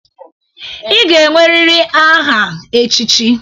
Ịga-enweriri aha echichi.